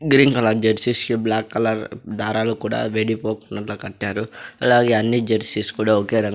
Green colour jerseys black colour దారాలు కూడా విడిపోకుండా కట్టారు. అలాగే అన్ని జెర్సీస్ కూడా ఒకే రంగు --